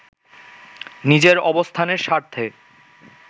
নিজের অবস্থানের স্বার্থে